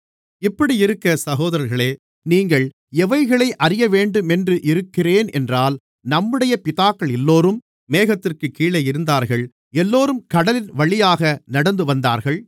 இப்படியிருக்க சகோதரர்களே நீங்கள் எவைகளை அறியவேண்டுமென்று இருக்கிறேனென்றால் நம்முடைய பிதாக்களெல்லோரும் மேகத்திற்குக் கீழே இருந்தார்கள் எல்லோரும் கடலின்வழியாக நடந்துவந்தார்கள்